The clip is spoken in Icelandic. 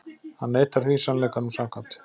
Hann neitar því, sannleikanum samkvæmt.